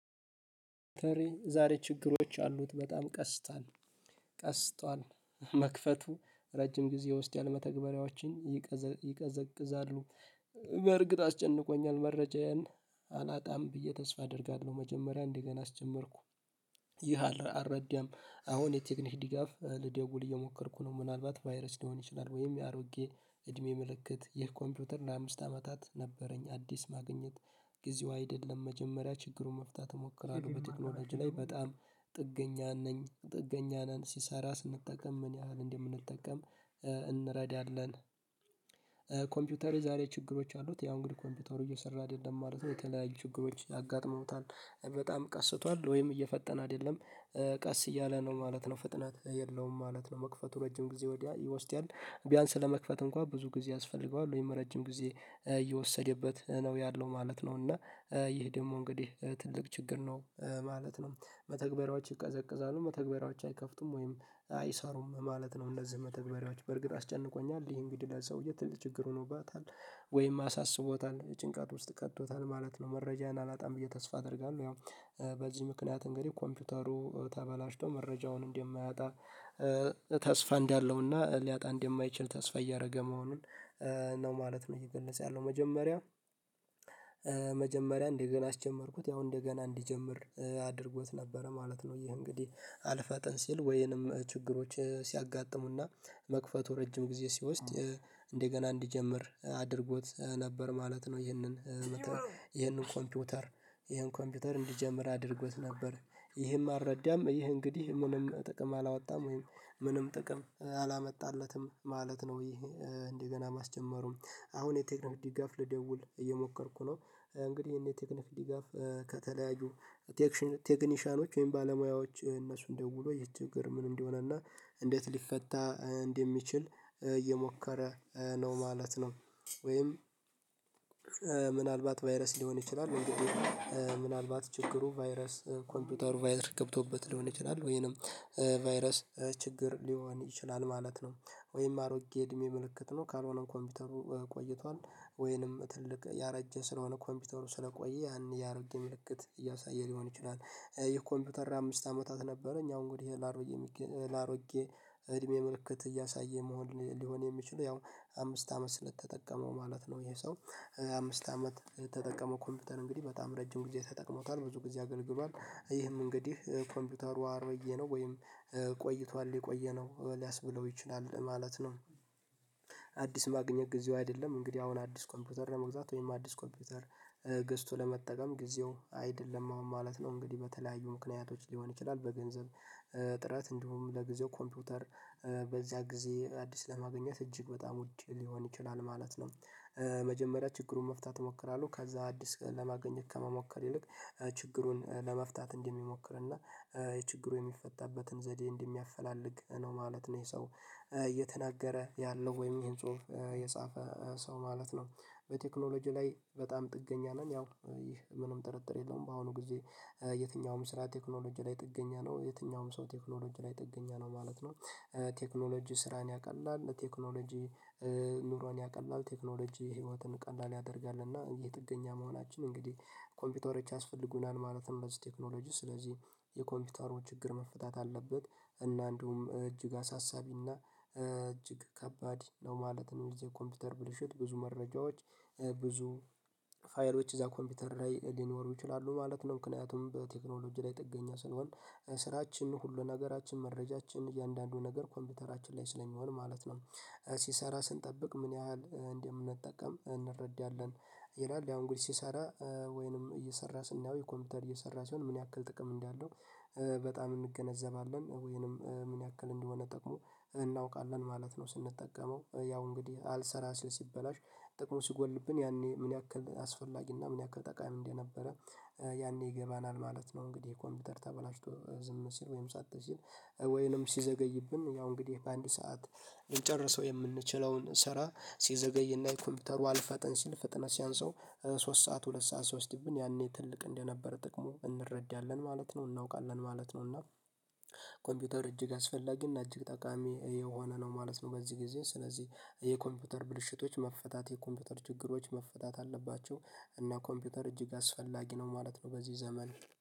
ዛሬ ችግሮች አሉት በጣም ቀስቷል ቀስቷል መክፈቱ ረጅም ጊዜ ውስጥ ያለመተግበሪያዎችን ይቀዘ ይዘቅዛሉ። በእርግጥ አስጨንቆኛል መረጃየን አላጣም ብዬ ተስፋ አደርጋለሁ። መጀመሪያ እንደገና አስጀመርኩ። ይህ አረ አልረደም። አሁን የቴክኒክ ድጋፍ ልደውል እየሞከርኩ ነው ምናልባት ቫይረስ ሊሆን ይችላል። ወይም የአሮጌ እድሜ ምልክት የኮምፒውተር ለአምስት አመታት ነበረኝ። አዲስ ማግኘት ጊዜው አይደለም መጀመሪያ ችግሩን መፍታት እሞክራለሁ። በቴክኖሎጂ ላይ በጣም ጥገኛ ነኝ ጥገኛ ነን ሲሰራ ስንጠቀም ምን ያህል እንደምንጠቀም እንረዳለን። ኮምፒውተር የዛሬ ችግሮች አሉት ያው እንግዲህ ኮምፒውተሩ እየሰራህ አይደለም ማለት ነው። የተለያዩ ችግሮች አጋጥመውታል በጣም ቀስቷል ወይም እየፈጠነ አይደለም ቀስ እያለ ነው ማለት ነው ፍጥነት የለውም ማለት ነው። መክፈቱ ረጅም ጊዜ ወዲያ ይወስዳል ቢያንስ ለመክፈት እንኳን ብዙ ጊዜ ያስፈልገዋል ወይም ረጅም ጊዜ እየወሰደበት ነው ያለው ማለት ነው። እና ይህ ደግሞ እንግዲህ ትልቅ ችግር ነው ማለት ነው። መተግበራዎች ይቀዘቅዛሉ መተግበራዎች አይከፍቱም ወይም አይሰሩም ማለት ነው። እነዚህ መተግበሪያዎች በእርግጥ አስጨንቆኛል ይሄ እንግዲህ ለዛው የት ልት ችግር ሆኖባታል ወይም አሳስቦታል ጭንቃት ውስጥ ቀጥቶታል ማለት ነው። መረጃዬን አላጣም ብዬ ተስፋ አደርጋለሁ። ያው በዚህ ምክንያት እንግዲህ ኮምፒውተሩ ተበላሽቶ መረጃውን እንደማያጣ ተስፋ እንዳለውና ሊያጣ እንደማይችል ተስፋ እያረገ መሆኑን ነው ማለት ነው። እየገለፀ ያለው መጀመሪያ መጀመሪያ እንደገና አስጀመርኩት ነው እንደገና እንዲጀምር አድርጎት ነበረ ማለት ነው። ይህም እንግዲህ አልፋጠን ሲል ወይንም ችግሮች ሲያጋጥሙና መክፈቱ ረጅም ጊዜ ሲወስድ እንደገና እንዲጀምር አድርጎት ነበር ማለት ነው። ይህንን ይህንን ኮምፒውተር ይህን ኮምፒውተር እንዲጀምር አድርጎት ነበር ይህም አልረዳም ይህ እንግዲህ ምንም ጥቅም አላወጣም ወይም ምንም ጥቅም አላመጣለትም ማለት ነው። ይሄ እንደገና ማስጀመሩ አሁን የቴክኖ ድጋፍ ልደውል እየሞከርኩ ነው። እንግዲህ ይህን የቴክኒክ ድጋፍ ከተለያዩ ቴክኒሻኖች ወይም ባለሙያዎች እነሱን ደውሎ ይህ ችግር ምን እንደሆነና እንዴት ሊፈታ እንደሚችል እየሞከረ ነው ማለት ነው። ወይም ምናልባት ቫይረስ ሊሆን ይችላል። እንግዲህ ምናልባት ችግሩ ቫይረስ ኮምፒውተሩ ቫይረስ ገብቶበት ሊሆን ይችላል ወይንም ቫይረስ ችግር ሊሆን ይችላል ማለት ነው። ወይም አሮጌ እድሜ ምልክት ነው ካልሆነም ኮምፒውተሩ ቆይቷል ወይንም ትልቅ ያረጀ ስለሆነ ኮምፒውተሩ ስለቆየ ያን ያረጀ ምልክት እያሳየ ሊሆን ይችላል። የኮምፒውተር አምስት አመታት ነበረ እኛ አሁን ጉድ ይሄ ላሮጌ ላሮጌ እድሜ ምልክት እያሳየ መሆን ሊሆን የሚችለው ያው አምስት አመት ስለተጠቀመው ማለት ነው። ይሄ ሰው አምስት አመት የተጠቀመው ኮምፒውተር እንግዲህ በጣም ረጅም ጊዜ ተጠቅሞታል ብዙ ጊዜ አገልግሏል ይህም እንግዲህ ኮምፒውተሩ አርበዬ ነው ወይም ቆይቷል የቆየ ነው ሊያስብለው ይችላል ማለት ነው። ማግኘት ጊዜው አይደለም እንግዲህ አሁን አዲስ ኮምፒውተር ለመግዛት ወይም አዲስ ኮምፒውተር ገዝቶ ለመጠቀም ጊዜው አይደለም ማለት ነው። እንግዲህ በተለያዩ ምክንያቶች ሊሆን ይችላል በገንዘብ ጥረት እንዲሁም ለጊዜው ኮምፒውተር በዚያ ጊዜ አዲስ ለማግኘት እጅግ በጣም ውድ ሊሆን ይችላል ማለት ነው። መጀመሪያ ችግሩን መፍታት እሞክራለሁ ከዛ አዲስ ለማገኘት ከመሞከር ይልቅ ችግሩን ለመፍታት እንደሚሞክር እና የችግሩ የሚፈታበትን ዘዴ እንደሚያፈላልግ ነው ማለት ነው። ይሄ ሰው እየተናገረ ያለው ወይም ይሄን ጽሁፍ የጻፈ ሰው ማለት ነው። በቴክኖሎጂ ላይ በጣም ጥገኛ ነን ያው ይህ ምንም ጥርጥር የለውም። በአሁኑ ጊዜ የትኛውም ስራ ቴክኖሎጂ ላይ ጥገኛ ነው የትኛውም ሰው ቴክኖሎጂ ላይ ጥገኛ ነው ማለት ነው። ቴክኖሎጂ ስራን ያቀላል ለቴክኖሎጂ ኑሮን ያቀላል ቴክኖሎጂ ህይወትን ቀላል ያደርጋል። የጥገኛ መሆናችን እንግዲህ ኮምፒውተሮች ያስፈልጉናል ማለትም በዚህ ቴክኖሎጂ ስለዚህ የኮምፒውተሩ ችግር መፍታት አለበት እና እንደውም እጅግ አሳሳቢና እጅግ ከባድ ነው ማለት ነው። እዚህ ኮምፒውተር ብልሹት ብዙ መረጃዎች ብዙ ፋየሮች ውስጥ እዛ ኮምፒውተር ላይ ሊኖሩ ይችላሉ ማለት ነው። ምክንያቱም በቴክኖሎጂ ላይ ጥገኛ ስለሆንኩ ስራችን ሁሉ ነገራችን መረጃችን እያንዳንዱ ነገር ኮምፒውተራችን ላይ ስለሚሆን ማለት ነው። ሲሰራ ስንጠብቅ ምን ያህል እንደምንጠቀም እንረዳለን ይላል ያው እንግዲህ ሲሰራ ወይንም እየሰራ ስናየው ኮምፒውተር እየሰራ ሲሆን ምን ያክል ጥቅም እንዳለው በጣም እንገነዘባለን። ወይንም ምን ያክል እንደሆነ ጠቅሞ እናውቃለን ማለት ነው። ስንጠቀመው ያው እንግዲህ አልሰራ ሲበላሽ ጥቅሙ ሲጎልብን ያኔ ምን ያክል አስፈላጊና ምን ያክል ጠቃሚ እንደነበረ ይገባናል ማለት ነው። እንግዲህ የኮምፒውተር ተበላሽቶ ዝም ሲል ወይም ሳትስል ወይንም ሲዘገይብን ያው እንግዲህ በአንድ ሰዓት ልንጨርሰው የምንችለውን ስራ ሲዘገይና የኮምፒውተሩ አልፈጠን ሲል ፍጥነት ሲያንስበው ሶስት ሰዓት ሁለት ሰዓት ሲያወስድብን ያኔ ትልቅ እንደነበረ ጥቅሙ እንረዳለን ማለት ነው። እናውቃለን ማለት ነው እና ኮምፒውተር እጅግ አስፈላጊና እጅግ ጠቃሚ የሆነ ነው ማለት ነው። በዚህ ጊዜ ስለዚህ የኮምፒውተር ብልሽቶች መፈታት የኮምፒውተር ችግሮች መፈታት አለባቸው። እና ኮምፒውተር እጅግ አስፈላጊ ነው ማለት ነው። በዚህ ዘመን